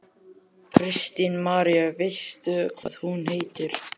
Kristín María: Veistu hvað hún heitir?